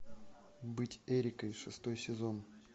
быть эрикой шестой сезон